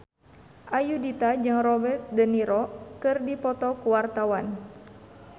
Ayudhita jeung Robert de Niro keur dipoto ku wartawan